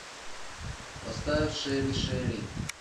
поставь шери шери